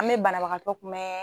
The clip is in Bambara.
An bɛ banabagatɔ kunbɛn